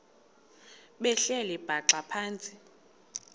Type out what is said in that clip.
behleli bhaxa phantsi